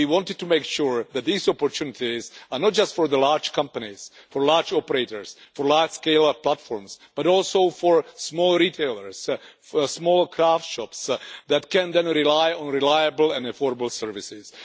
We wanted to make sure that these opportunities are not just for large companies, large operators and large-scale platforms, but also for small retailers and small craft shops that can then rely on reliable and affordable services.